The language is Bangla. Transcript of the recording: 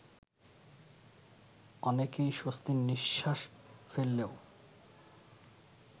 অনেকেই স্বস্তির নিঃশ্বাস ফেললেও